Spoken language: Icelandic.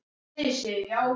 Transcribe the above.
Freyleif, læstu útidyrunum.